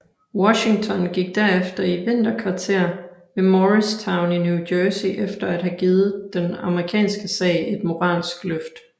Washington gik derefter i vinterkvarter ved Morristown i New Jersey efter at have givet den amerikanske sag et moralsk løft